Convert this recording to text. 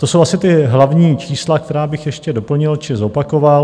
To jsou asi ta hlavní čísla, která bych ještě doplnil či zopakoval.